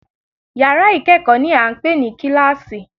Yàrá ìkẹ́kọ̀ọ́ ni à ń pè ní kíláàsì